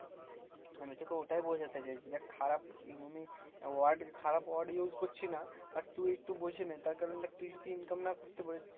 আমি তোকে ওটাই বোঝাতে চাইছি। দেখ খারাপ ই মানে word খারাপ word use করছি না but তুই একটু বুঝে নে, তার কারণ দেখ তুই যদি income না করতে পারিস